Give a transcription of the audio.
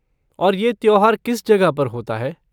और ये त्योहार किस जगह पर होता है?